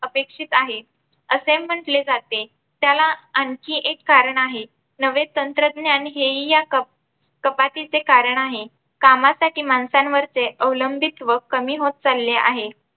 अपेक्षित आहे, असे म्हटले जाते त्याला. आणखी एक कारण आहे, नवे तंत्रज्ञान हे हि या कप कपातीचे कारण आहे. कामासाठी माणसांवरचे अवलंबित्व कमी होत चालले आहे.